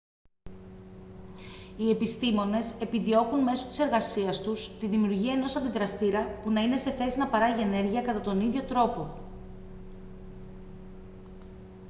οι επιστήμονες επιδιώκουν μέσω της εργασίας τους τη δημιουργία ενός αντιδραστήρα που να είναι σε θέση να παράγει ενέργεια κατά τον ίδιο τρόπο